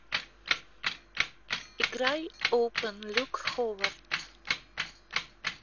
играй опен люк ховард